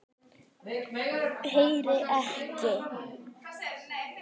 Heyri ekki.